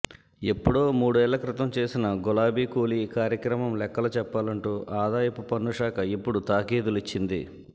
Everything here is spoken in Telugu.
ఎప్పుడో మూ డేళ్ల క్రితం చేసిన గులాబీ కూలి కార్యక్రమం లెక్కలు చెప్పాలంటూ ఆదాయపు పన్నుశాఖ ఇప్పుడు తాఖీదులిచ్చింది